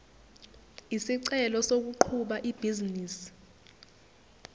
isicelo sokuqhuba ibhizinisi